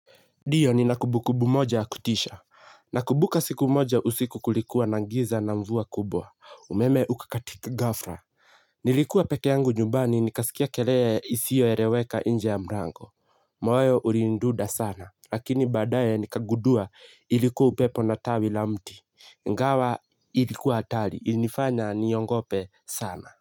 Ndiyo nina kumbukumbu moja ya kutisha. Nakumbuka siku moja usiku kulikuwa na giza na mvua kubwa. Umeme uka katika gafla. Nilikuwa peke yangu nyumbani nikasikia kelele isiyo eleweka nje ya mlango. Moyo ulinidunda sana. Lakini baadaye nikagundua ilikuwa upepo na tawi la mti. Ingawa ilikuwa hatari ilifanya niogope sana.